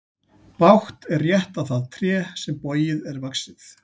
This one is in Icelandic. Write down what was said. Bágt er rétta það tré sem bogið er vaxið.